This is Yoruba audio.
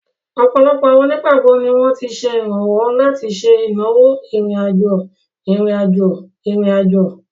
Ọ̀pọ̀lọpọ̀ àwọn onígbàgbọ́ ni wọ́n ti ṣe ìrànwọ́ láti ṣe ìnáwó ìrìn-àjò ìrìn-àjò ìrìn-àjò.